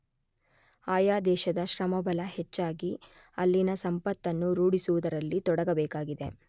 ಆಯಾ ದೇಶದ ಶ್ರಮಬಲ ಹೆಚ್ಚಾಗಿ ಅಲ್ಲಿನ ಸಂಪತ್ತನ್ನು ರೂಢಿಸುವುದರಲ್ಲಿ ತೊಡಗಬೇಕಾಗಿದೆ.